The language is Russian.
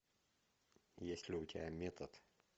есть ли у тебя метод